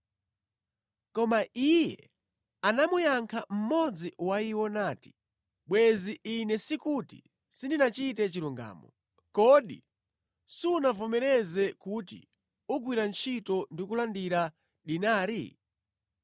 “Koma iye anamuyankha mmodzi wa iwo nati, ‘Bwenzi, ine sikuti sindinachite chilungamo. Kodi sunavomereze kuti ugwira ntchito ndi kulandira dinari?